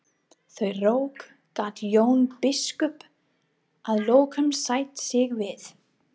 Þau rök gat Jón biskup að lokum sætt sig við.